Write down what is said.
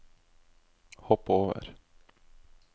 hopp over